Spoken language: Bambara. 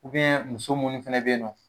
Ubiyɛn muso munnu fɛnɛ be ye nɔ